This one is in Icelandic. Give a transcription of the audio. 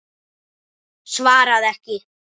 Svaraði ekki.